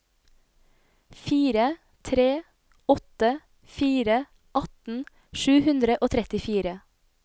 fire tre åtte fire atten sju hundre og trettifire